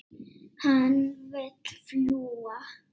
Hann vill fljúga.